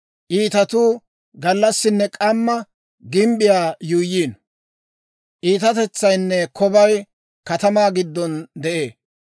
Iitatuu gallassinne k'amma, gimbbiyaa yuuyyiino; Iitatetsaynne kobay katamaa giddon de'ee.